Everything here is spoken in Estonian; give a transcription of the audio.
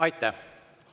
Aitäh!